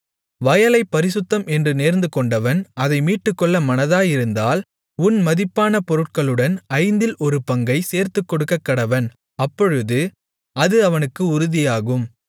வயலைப் பரிசுத்தம் என்று நேர்ந்துகொண்டவன் அதை மீட்டுக்கொள்ள மனதாயிருந்தால் உன் மதிப்பான பொருட்களுடன் ஐந்தில் ஒரு பங்கை சேர்த்துக்கொடுக்கக்கடவன் அப்பொழுது அது அவனுக்கு உறுதியாகும்